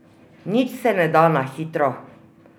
Nič se ne da na hitro!